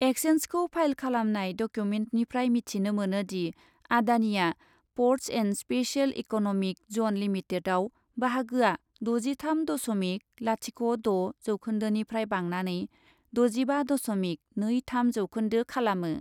एक्ससेन्जखौ file खालामनाय डकिउमेन्टनिफ्राय मिथिनो मोनो दि, आडानिआ ports and special economic zone लिमिटेडयाव बाहागोया द'जिथाम दस'मिक लाथिख' द' जौखोन्दोनिफ्राय बांनानै द'जिबा दस'मिक नै थाम जौखोन्दो खालामो ।